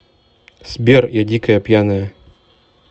сбер я дикая пьяная